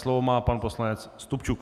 Slovo má pan poslanec Stupčuk.